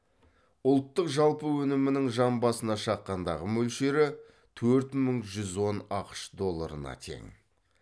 ұлттық жалпы өнімінің жан басына шаққандағы мөлшері төрт мың жүз он ақш долларына тең